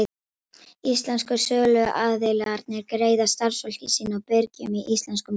Íslensku söluaðilarnir greiða starfsfólki sínu og birgjum í íslenskum krónum.